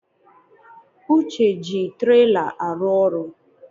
Uche ji trela arụ ọrụ